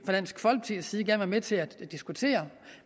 dansk folkepartis side gerne være med til at diskutere